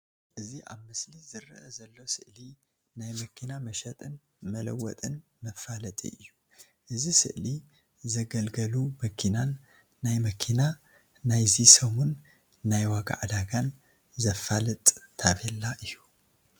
እዚ ኣብ ምስሊ ዝረአ ዘሎ ስእሊ ናይ መኪና መሸጢን መለወጥን መፋለጢ እዩ። እዚ ስእሊ ዘገልገሉ መኪናን ናይ መኪና ናይእዚ ሰሙን ናይ ዋጋ ዕዳጋን ዘፋልጥ ታቤላ እዩ።